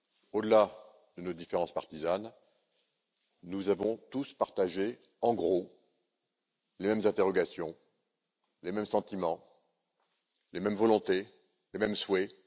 Au delà de nos différences partisanes, nous avons tous partagé, en gros, les mêmes interrogations, les mêmes sentiments, les mêmes volontés, les mêmes souhaits.